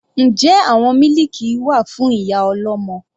Njẹ́ àwọn mílìkì wà fún ìyá ọlọ́mọ?